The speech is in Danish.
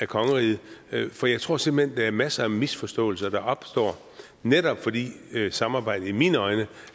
kongeriget for jeg tror simpelt hen der er masser af misforståelser der opstår netop fordi samarbejdet i mine øjne